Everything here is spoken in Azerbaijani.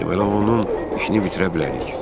Deməli, onun işini bitirə bilərik.